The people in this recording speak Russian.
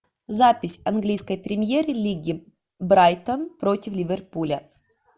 запись английской премьер лиги брайтон против ливерпуля